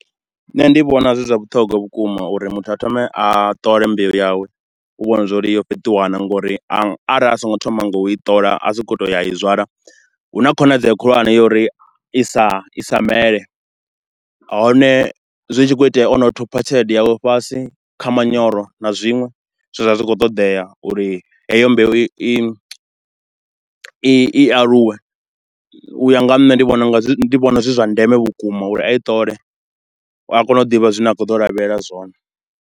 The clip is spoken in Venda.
Nṋe ndi vhona zwi zwa vhuṱhogwa vhukuma uri muthu a thome a ṱole mbeu yawe, u vhona zwauri yo fheṱiwa na nga uri a, arali a so ngo thoma nga u i ṱola, a tshi khou to u ya u i zwala, hu na khonadzeo khulwane ya uri i sa, i sa mele. Hone zwi tshi khou itea o no thupha tshelede yawe fhasi kha manyoro na zwinwe zwe zwa vha zwi tshi khou ṱoḓea, uri heyo mbeu i, i aluwe. U ya nga ha nṋe ndi vhona unga zwi vhona zwi zwa ndeme vhukuma uri a i ṱole uri a kone u ḓivha zwine a khou ḓo lavhelela zwone.